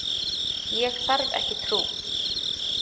Ég þarf ekki trú.